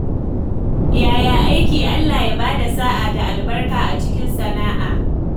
Yaya aiki? Allah ya ba da sa’a da albarka a cikin sana’a.